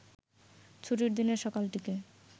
ছুটির দিনের সকালটিকে